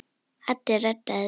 Addi reddaði því.